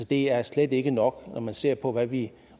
det er slet ikke nok når man ser på hvad vi